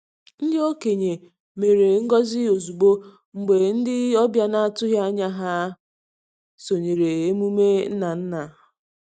Ndị okenye mere ngọzi ozugbo mgbe ndị ọbịa na-atụghị anya ha sonyere emume nna nna.